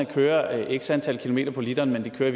kører x antal kilometer på literen men de kører i